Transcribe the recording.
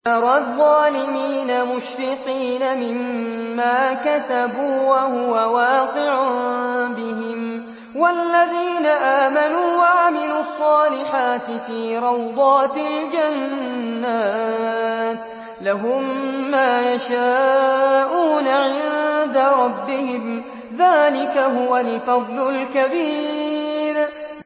تَرَى الظَّالِمِينَ مُشْفِقِينَ مِمَّا كَسَبُوا وَهُوَ وَاقِعٌ بِهِمْ ۗ وَالَّذِينَ آمَنُوا وَعَمِلُوا الصَّالِحَاتِ فِي رَوْضَاتِ الْجَنَّاتِ ۖ لَهُم مَّا يَشَاءُونَ عِندَ رَبِّهِمْ ۚ ذَٰلِكَ هُوَ الْفَضْلُ الْكَبِيرُ